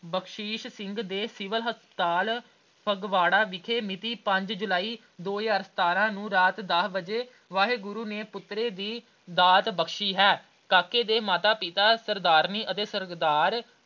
ਬਖ਼ਸ਼ੀਸ਼ ਸਿੰਘ ਦੇ civil hospital Phagwara ਵਿਖੇ ਮਿਤੀ ਪੰਜ ਜੁਲਾਈ ਦੋ ਹਜ਼ਾਰ ਸਤਾਰਾਂ ਨੂੰ ਰਾਤ ਦਸ ਵਜੇ ਵਾਹਿਗੁਰੂ ਨੇ ਪੋਤਰੇ ਦੀ ਦਾਤ ਬਖ਼ਸ਼ੀ ਹੈ ਕਾਕੇ ਦੇ ਮਾਤਾ ਪਿਤਾ ਸਰਦਾਰਨੀ ਅਤੇ ਅਹ ਸਰਦਾਰ।